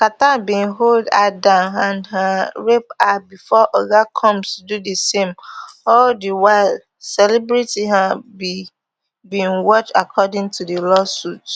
carter bin hold her down and um rape her bifor oga combs do di same all di while celebrity um b bin watch according to di lawsuit